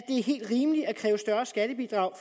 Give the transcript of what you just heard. er helt rimeligt at kræve større skattebidrag